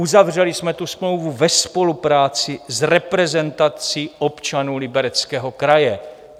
Uzavřeli jsme tu smlouvu ve spolupráci s reprezentací občanů Libereckého kraje.